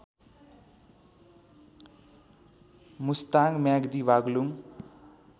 Mustang Myagdi Baglung